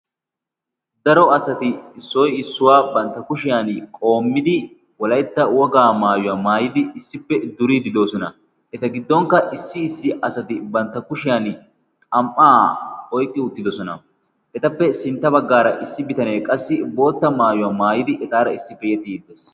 daro asati issoi issuwaa bantta kushiyan qoommidi wolaetta wogaa maayuwaa maayidi issippe duriidi dosona. eta giddonkka issi issi asati bantta kushiyan xam77aa oiqqi uttidosona. etappe sintta baggaara issi bitanee qassi bootta maayuwaa maayidi etaara issipe yexiidi dees.